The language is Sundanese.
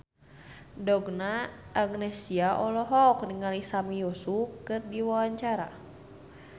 Donna Agnesia olohok ningali Sami Yusuf keur diwawancara